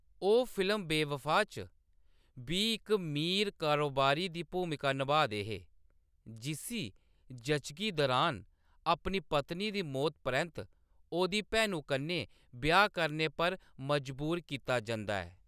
ओह्‌‌ फिल्म बेबफा च बी इक मीर कारोबारी दी भूमिका नभा दे हे, जिस्सी जच्चगी दुरान अपनी पत्नी दी मौती परैंत्त ओह्‌‌‌दी भैनु कन्नै ब्याह्‌‌ करने पर मजबूर कीता जंदा ऐ।